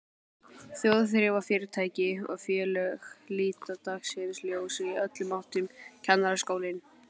Þjóðþrifafyrirtæki og félög líta dagsins ljós í öllum áttum, Kennaraskólinn